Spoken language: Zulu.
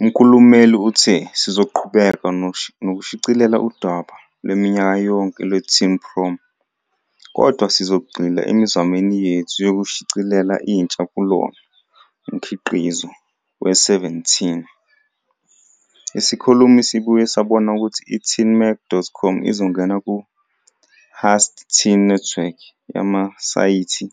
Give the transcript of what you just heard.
Umkhulumeli uthe "Sizoqhubeka nokushicilela udaba lwaminyaka yonke lweTeen Prom, kodwa sizogxila emizamweni yethu yokushicilela intsha "kulona" mkhiqizo weSeventeen."Isikhulumi sibuye sabona ukuthi i- teenmag.com izongena ku-Hearst Teen Network yamasayithi